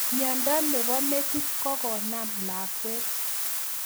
Miondo nebo metit kokonam lakwet